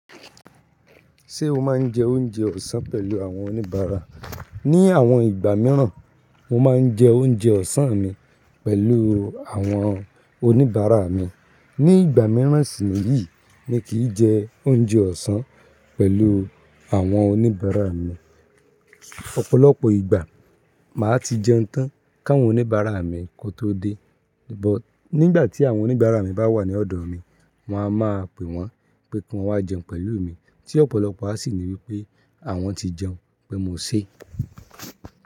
Ṣé o máa ń jẹ oúnjẹ ọ̀sán pẹ̀lú àwọn oníbàárà? Ni àwọn ìgbà mìíràn, mo máa ń jẹ oúnjẹ ọ̀sán mi pẹ̀lú àwọn oníbàárà mi. Ni ìgbà mìíràn sì níyì, mi kì í jẹ oúnjẹ ọ̀sán pẹ̀lú àwọn oníbàárà mi. Ọ̀pọ̀lọpọ̀ ìgbà, màá ti jẹun tán káwọn oníbàárà mi kó tó dé. But nígbà tí àwọn oníbàárà mi bá wà ní ọ̀dọ̀ mi, màá máa pè wọ́n pé kí wọ́n wá jẹun pẹ̀lú mi, tí ọ̀pọ̀lọpọ̀ á sì ní wí pé àwọn ti jẹun, pé mo ṣé.